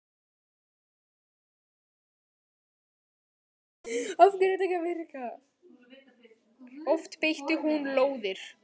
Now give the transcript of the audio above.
Oft beitti hún lóðir.